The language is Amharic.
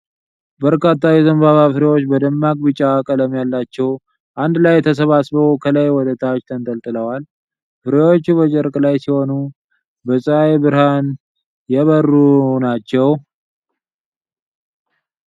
በርካታ የዘንባባ ፍሬዎች በደማቅ ቢጫ ቀለም ያላቸው አንድ ላይ ተሰባስበው ከላይ ወደ ታች ተንጠልጥለዋል። ፍሬዎቹ በጨርቅ ላይ ሲሆኑ በፀሐይ ብርሃን የበሩ ናቸው።